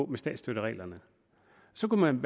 med statsstøttereglerne så kunne man